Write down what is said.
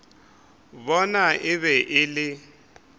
bona e be e le